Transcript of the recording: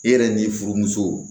E yɛrɛ ni furumusow